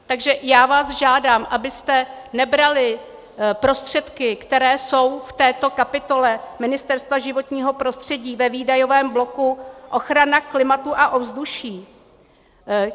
Takže já vás žádám, abyste nebrali prostředky, které jsou v této kapitole Ministerstva životního prostředí ve výdajovém bloku ochrana klimatu a ovzduší.